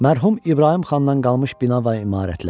Mərhum İbrahim xandan qalmış bina və imarətlər.